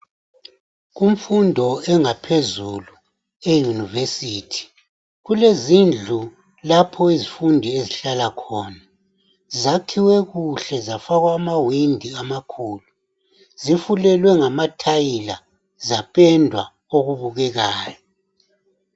Kumfundo engaphezulu e yunivesithi kulezindlu lapho izifundi ezihlala khona, zakhiwe kuhle zafakwa amawindi amakhulu. Zifulelwe ngama thayila zapendwa okubukekayo.